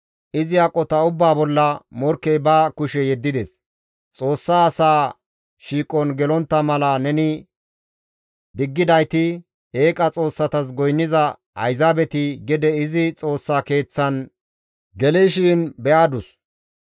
Izi aqota ubbaa bolla morkkey ba kushe yeddides; Xoossa asaa shiiqon gelontta mala neni diggidayti eeqa xoossatas goynniza ayzaabeti gede izi Xoossa Keeththan gelishin be7adus.